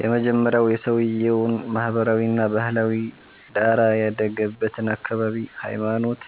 የመጀመሪያዉ የሰዉየዉን ማህበራዊ እና ባህላዊ ዳራ፣ ያደገበትን አካባቢ፣ ሃይማኖት